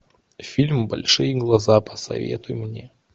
фильм большие глаза посоветуй мне